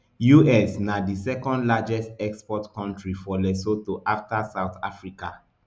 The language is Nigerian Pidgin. us na di second largest export kontri for lesotho afta south africa